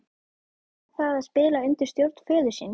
Hvernig er það að spila undir stjórn föður síns?